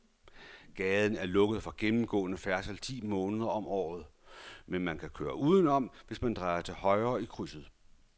Gaden er lukket for gennemgående færdsel ti måneder om året, men man kan køre udenom, hvis man drejer til højre i krydset.